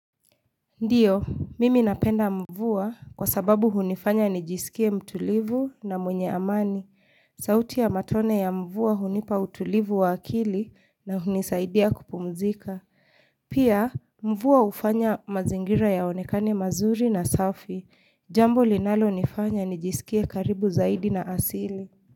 Ndio, mimi napenda mvua kwa sababu hunifanya nijisikie mtulivu na mwenye amani. Sauti ya matone ya mvua hunipa utulivu wa akili na hunisaidia kupumzika. Pia, mvua hufanya mazingira yaonekane mazuri na safi. Jambo linalonifanya nijisikie karibu zaidi na asili.